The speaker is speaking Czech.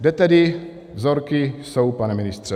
Kde tedy vzorky jsou, pane ministře?